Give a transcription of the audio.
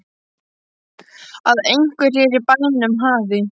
Að einhver hér í bænum hafi.